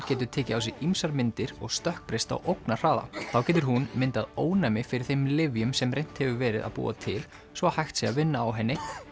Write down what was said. getur tekið á sig ýmsar myndir og stökkbreyst á ógnarhraða þá getur hún myndað ónæmi fyrir þeim lyfjum sem reynt hefur verið að búa til svo að hægt sé að vinna á henni